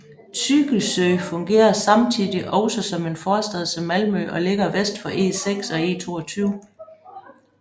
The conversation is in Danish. Tygelsjö fungerer samtidig også som en forstad til Malmø og ligger vest for E6 og E22